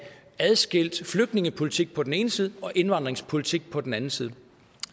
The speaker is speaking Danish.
adskilt flygtningepolitikken på den ene side og indvandringspolitikken på den anden side